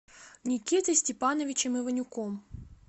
никитой степановичем иванюком